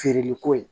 Feereliko ye